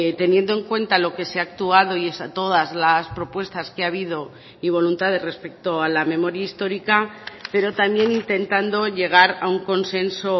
teniendo en cuenta lo que se ha actuado y es a todas las propuestas que ha habido y voluntades respecto a la memoria histórica pero también intentando llegar a un consenso